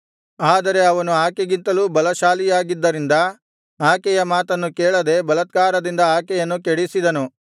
ಆದರೆ ಅವನು ಆಕೆಗಿಂತಲೂ ಬಲಶಾಲಿಯಾಗಿದ್ದರಿಂದ ಆಕೆಯ ಮಾತನ್ನು ಕೇಳದೆ ಬಲಾತ್ಕಾರದಿಂದ ಆಕೆಯನ್ನು ಕೆಡಿಸಿದನು